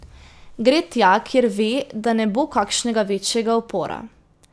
Gre tja, kjer ve, da ne bo kakšnega večjega upora.